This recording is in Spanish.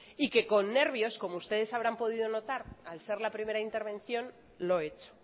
y que con nervios como ustedes habrán podido notar al ser la primera intervención lo he hecho